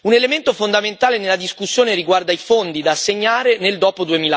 Un elemento fondamentale nella discussione riguarda i fondi da assegnare nel dopo